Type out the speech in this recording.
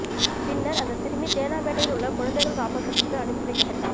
பின்னர் அந்த சிறுமி தேனாம்பேட்டையில் உள்ள குழந்தைகள் காப்பகத்துக்கு அனுப்பி வைக்கப்பட்டார்